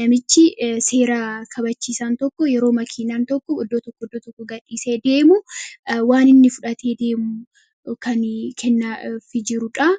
namichi seera kabachiisaan tokko yeroo makiinaan tokk iddoo tookko gadhiisee deemu waan inni fudhatee deemu kan kennaafi jirudha.